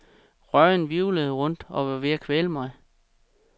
Røgen hvirvlede rundt og var ved at kvæle mig.